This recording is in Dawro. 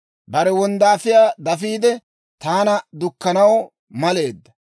Bare wonddaafiyaa dafiide, taana dukkanaw maleedda.